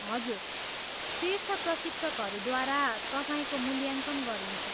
हजुर, शीर्ष प्रशिक्षकहरूद्वारा तपाईँको मूल्याङ्कन गरिन्छ।